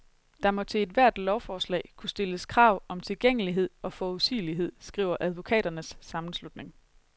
Der må til ethvert lovforslag kunne stilles krav om tilgængelighed og forudsigelighed, skriver advokaternes sammenslutning.